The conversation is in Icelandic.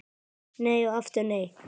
Nei og aftur nei!